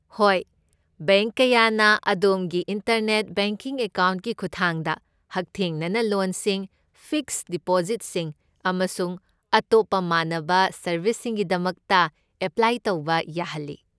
ꯍꯣꯏ, ꯕꯦꯡꯛ ꯀꯌꯥꯅ ꯑꯗꯣꯝꯒꯤ ꯏꯟꯇꯔꯅꯦꯠ ꯕꯦꯡꯀꯤꯡ ꯑꯦꯀꯥꯎꯟꯠꯀꯤ ꯈꯨꯠꯊꯥꯡꯗ ꯍꯛꯊꯦꯡꯅꯅ ꯂꯣꯟꯁꯤꯡ, ꯐꯤꯛꯁꯗ ꯗꯤꯄꯣꯖꯤꯠꯁꯤꯡ, ꯑꯃꯁꯨꯡ ꯑꯇꯣꯞꯄ ꯃꯥꯟꯅꯕ ꯁꯔꯕꯤꯁꯁꯤꯡꯒꯤꯗꯃꯛꯇ ꯑꯦꯄ꯭ꯂꯥꯏ ꯇꯧꯕ ꯌꯥꯍꯜꯂꯤ꯫